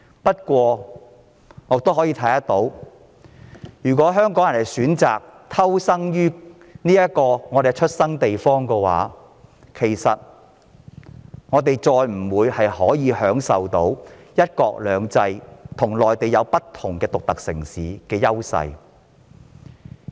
不過，我們可以預見，如香港人選擇在我們的出生地偷生，我們便無法再享有香港在"一國兩制"下有別於內地城市的優勢。